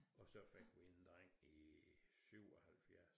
Og så fik vi en dreng i 77